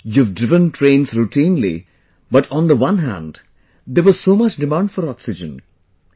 You have driven trains routinely but on the one hand there was so much demand for oxygen...